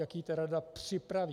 Jak ji ta rada připraví?